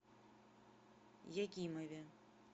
якимове